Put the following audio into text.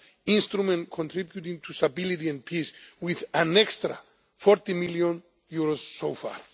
our Instrument Contributing to Stability and Peace, with an extra EUR 40 million so